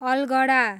अलगढा